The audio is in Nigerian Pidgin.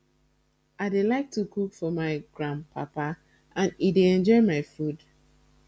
i dey like to cook for my grand papa and e dey enjoy my food